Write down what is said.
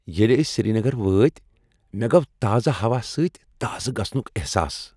ییٚلہ أسۍ سری نگر وٲتۍ، مےٚ گوٚو تازٕ ہوا سۭتۍ تازٕ گژھنُک احساس۔